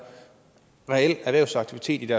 reel erhvervsaktivitet